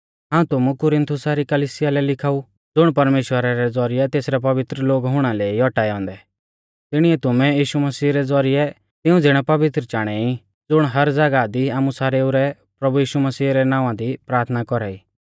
हाऊं तुमु कुरिन्थुसा री कलिसिया लै लिखाऊ ज़ुण परमेश्‍वरा रै ज़ौरिऐ तेसरै पवित्र लोग हुणा लै ई औटाऐ औन्दै तिणीऐ तुमै यीशु मसीह रै ज़ौरिऐ तिऊं ज़िणै पवित्र चाणै ई ज़ुण हर ज़ागाह दी आमु सारेऊ रै प्रभु यीशु मसीह रै नावां दी प्राथना कौरा ई